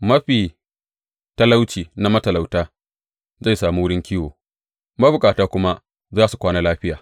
Mafi talauci na matalauta zai sami wurin kiwo, mabukata kuma za su kwana lafiya.